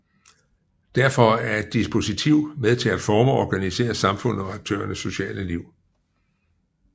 Derfor er et dispositiv med til at forme og organisere samfundet og aktørernes sociale liv